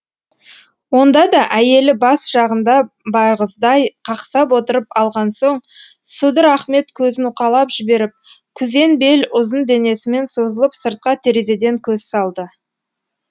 онда да әйелі бас жағында байғыздай қақсап отырып алған соң судыр ахмет көзін уқалап жіберіп күзен бел ұзын денесімен созылып сыртқа терезеден көз салды